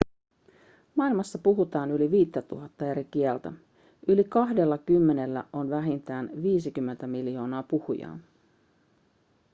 maailmassa puhutaan yli 5 000 eri kieltä yli kahdellakymmenellä on vähintään 50 miljoonaa puhujaa